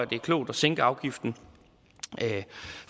det er klogt at sænke afgiften